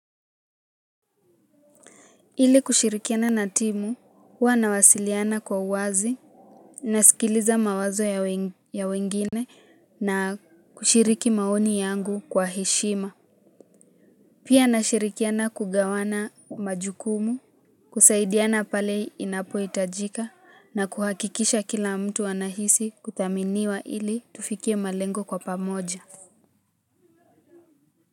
Ili kushirikiana na timu huwa nawasiliana kwa uwazi. Nasikiliza mawazo ya ya wengine na kushiriki maoni yangu kwa heshima. Pia nashirikiana kugawana majukumu. Kusaidiana pale inapohitajika na kuhakikisha kila mtu anahisi kuthaminiwa ili tufikie malengo kwa pamoja.